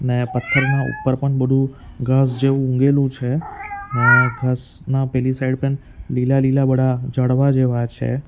ને પથ્થરના ઉપર પણ બઢુ ઘાસ જેવું ઉગેલું છે ને ઘાસના પેલી સાઈડ પણ લીલા-લીલા બઢા ઝાડવા જેવા છે.